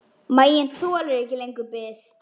Maginn þolir ekki lengur bið.